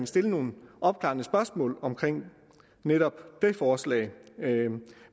stille nogle opklarende spørgsmål om netop det forslag